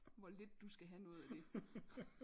Hvor lidt du skal have noget af det